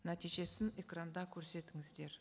нәтижесін экранда көрсетіңіздер